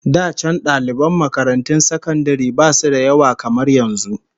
Da can daliban makarantun sakandare basu da yawa kamar yanzu